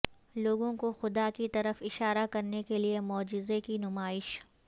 لوگوں کو خدا کی طرف اشارہ کرنے کے لئے معجزے کی نمائش